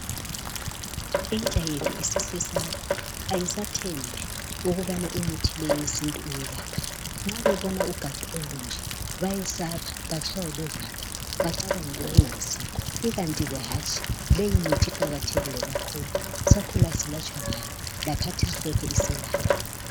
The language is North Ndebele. intsha yethu isisesaba ayisathembi ukubana leyi imthi yesintu iyelapha nxa bebona ugatsha olunje bayesaba batshaywa luvalo bacabange okungayisikho ikanti leyi mithi iqakathekile kakhulu sakhula silatshwa ngayo lakhathesi lokhe iselapha